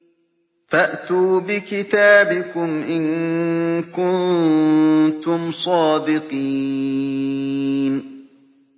فَأْتُوا بِكِتَابِكُمْ إِن كُنتُمْ صَادِقِينَ